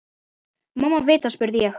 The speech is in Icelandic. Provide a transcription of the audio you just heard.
Mumma vita, spurði ég.